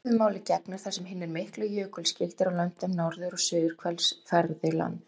Svipuðu máli gegnir þar sem hinir miklu jökulskildir á löndum norður- og suðurhvels fergðu land.